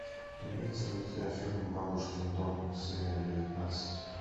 имеется ли у тебя фильм бабушкин дом серия девятнадцать